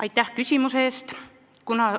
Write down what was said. Aitäh küsimuse eest!